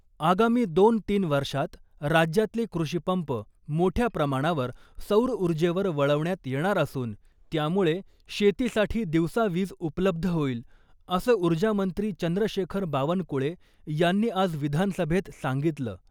आगामी दोन तीन वर्षात राज्यातले कृषीपंप मोठ्या प्रमाणावर सौर ऊर्जेवर वळवण्यात येणार असून , त्यामुळे शेतीसाठी दिवसा वीज उपलब्ध होईल , असं ऊर्जामंत्री चंद्रशेखर बावनकुळे यांनी आज विधानसभेत सांगितलं .